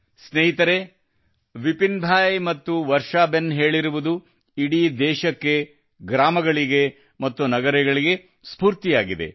ಸ್ನೇಹಿತರೇ ವರ್ಷಾಬೆನ್ ಮತ್ತು ಬಿಪಿನ್ ಭಾಯ್ ಹೇಳಿರುವುದು ಇಡೀ ದೇಶಕ್ಕೆ ಗ್ರಾಮಗಳಿಗೆ ಮತ್ತು ನಗರಗಳಿಗೆ ಸ್ಫೂರ್ತಿಯಾಗಿದೆ